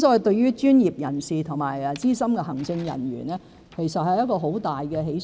對於專業人士和資深行政人員來說，這是很大的喜訊。